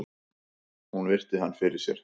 Hún virti hann fyrir sér.